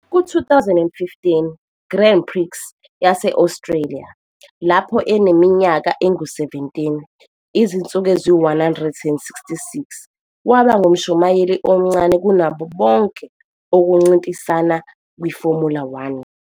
Ku-2015 Grand Prix yase-Australia, lapho eneminyaka engu-17, izinsuku eziyi-166, waba ngumshayeli omncane kunabo bonke ukuncintisana kwiFormula One.